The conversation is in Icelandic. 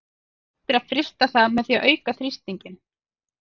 Hægt er að frysta það með því að auka þrýstinginn.